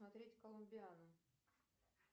смотреть коломбиану